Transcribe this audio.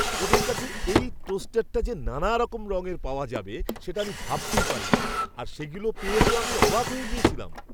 ওদের কাছে এই টোস্টারটা যে নানারকম রঙে পাওয়া যাবে সেটা আমি ভাবতেই পারিনি, আর সেগুলো পেয়ে তো আমি অবাক হয়ে গেছিলাম!